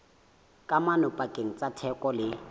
kamano pakeng tsa theko le